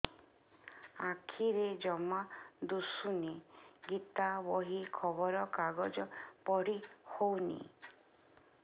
ଆଖିରେ ଜମା ଦୁଶୁନି ଗୀତା ବହି ଖବର କାଗଜ ପଢି ହଉନି